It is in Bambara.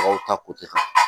Mɔgɔw ta kan